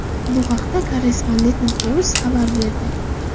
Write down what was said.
Bu haqda Korrespondent.net xabar berdi .